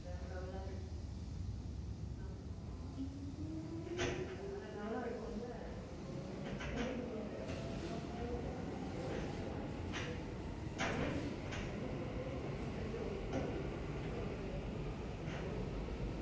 ஆமா கண்டிப்பா வேற level ஆ இருக்கும்ல அடிச்சுக்கவே முடியாது அதை பத்தி எல்லாம் வந்து யோசிக்க வாய்பே இல்ல எனக்கு இப்போ சொல்லும் போதே moment வந்து ரொம்ப அப்படியே happy ஆகுது so excited